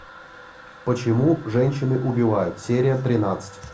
почему женщины убивают серия тринадцать